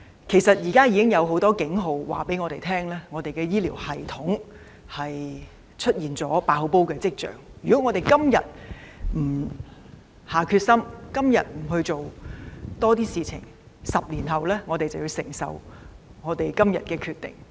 其實現時已有很多警號告訴我們，香港的醫療系統出現"爆煲"的跡象，如果政府今天不下定決心、多做工夫 ，10 年後便要承受今天所作決定的後果。